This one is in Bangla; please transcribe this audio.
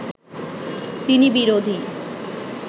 তিনি বিরোধী